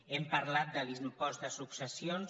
hem parlat de l’impost de successions